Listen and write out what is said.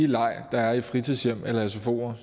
leg der er i fritidshjem eller sfoer